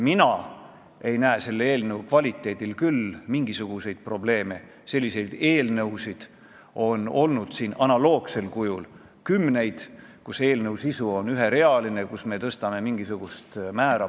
Täna on siin kõlanud väited – õigemini mitte väited, vaid informatsioon –, et komisjonis nii Riigikogu liikmed kui ka Keeleinspektsiooni juht kui ka ministeeriumi esindajad tõdesid: a) sanktsioonid on ajale jalgu jäänud, inflatsioon on need olematuks söönud ja b) on hulk eraettevõtteid ja asutusi, kes süsteemselt – kordan, süsteemselt!